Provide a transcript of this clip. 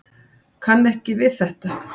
Kann ekki við þetta.